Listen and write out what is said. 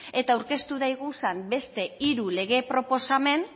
eta aurkeztu daiguzan beste hiru lege proposamen